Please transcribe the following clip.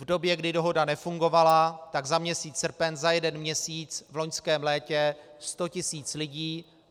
V době, kdy dohoda nefungovala, tak za měsíc srpen, za jeden měsíc v loňském létě, sto tisíc lidí.